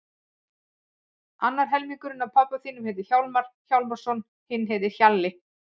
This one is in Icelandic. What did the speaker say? Annar helmingurinn af pabba þínum heitir Hjálmar Hjálmarsson, hinn heitir Hjalli.